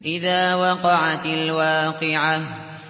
إِذَا وَقَعَتِ الْوَاقِعَةُ